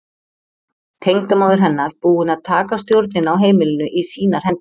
Tengdamóðir hennar búin að taka stjórnina á heimilinu í sínar hendur.